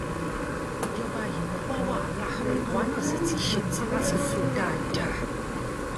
ìjọba yìí ń wá wàhálà àwa náà sì ti ṣetán láti fún un dáadáa